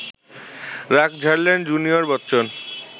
রাগ ঝাড়লেন জুনিয়র বচ্চন